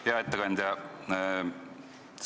Hea ettekandja!